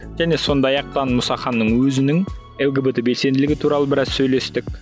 және сондай ақ мұсаханның өзінің лгбт белсенділігі туралы біраз сөйлестік